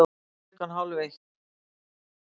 Klukkan hálf eitt